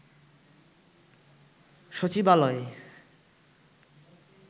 সচিবালয়ে